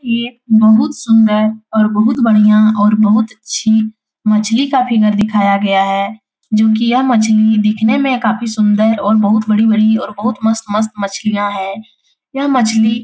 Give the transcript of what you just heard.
ये बहुत सुंदर और बहुत बढ़िया और बहुत अच्छी मछली का फिगर दिखाया गया है। जो की यह मछली दिखने में काफी सुंदर और बहुत बड़ी बड़ी और मस्त-मस्त मछलियां हैं। यह मछली--